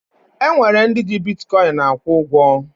E nwere ndị ji bitkọyịn akwụ ụgwọ